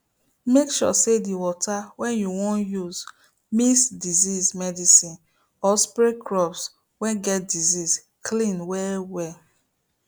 make sure say the water wey you wan use mix disease medicine or spray crops wey get disease clean well well